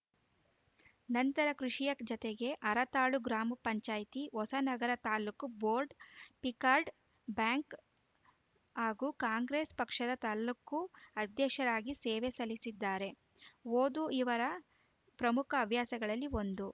ನಂತರ ಕೃಷಿಯ ಜತೆಗೆ ಹರತಾಳು ಗ್ರಾಮ ಪಂಚಾಯ್ತಿ Hosanagara taluk board PICARD bank ಹಾಗೂ ಕಾಂಗ್ರೆಸ್‌ ಪಕ್ಷದ ತಾಲೂಕು ಅಧ್ಯಕ್ಷರಾಗಿ ಸೇವೆ ಸಲ್ಲಿಸಿದ್ದಾರೆ ಓದು ಇವರ ಪ್ರಮುಖ ಹವ್ಯಾಸಗಳಲ್ಲಿ ಒಂದು